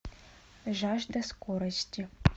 жажда скорости